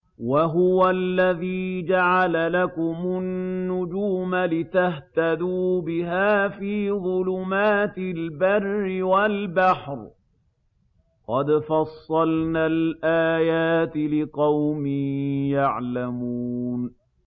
وَهُوَ الَّذِي جَعَلَ لَكُمُ النُّجُومَ لِتَهْتَدُوا بِهَا فِي ظُلُمَاتِ الْبَرِّ وَالْبَحْرِ ۗ قَدْ فَصَّلْنَا الْآيَاتِ لِقَوْمٍ يَعْلَمُونَ